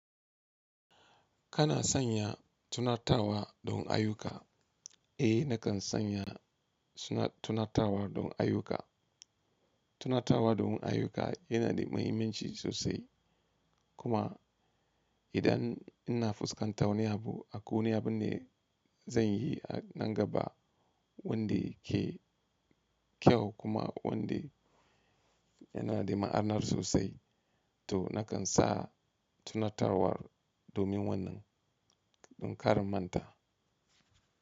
Kana sanya tunatawa don ayuka? Eh, nakan sanya suna tunatawar don ayuka. Tunatawa don ayuka yana da muhimmanci sosai. Kuma idan ina fuskantar wani abu a ko wane abu ne zan yi a nan gaba wanda ke kyau kuma wanda yana da ma'ana sosai to nakan sa tunatawar domin wannan don kar manta.